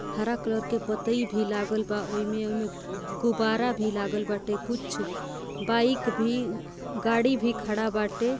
हरा कलर के पतई भी लागलबा ओइमे ओइमे गुब्बारा भी लागल बाटे कुछ बाइक भी गाड़ी भी खड़ा बाटे।